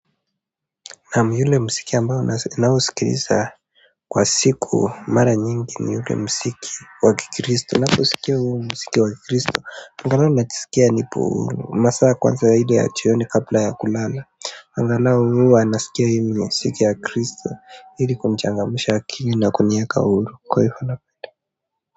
Naam ule mziki ambao ninasikiliza kwa siku mara nyingi ni ule mziki wa kikristo, ninaposikia huu mziki wa kikristo, angalau najisikia nipo huru, masaa kwanza ile ya jioni kabla ya kulala, angalau huwa nasikia hii mziki ya kristo, ili kunichangamsha akili na kuniweka huru, kwa hiyo.